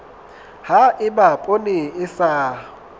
ha eba poone e sa